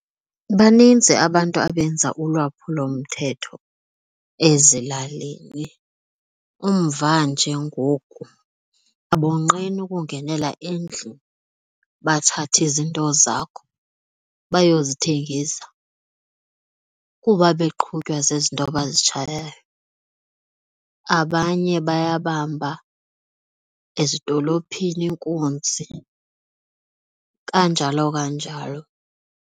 Banintsi abantu abenza ulwaphulomthetho ezilalini, umva nje ngoku abonqeni ukungenela endlini bathathe izinto zakho bayozithengisa kuba beqhutywa zizinto abazitshayayo. Abanye bayabamba ezidolophini inkunzi kanjalo kanjalo.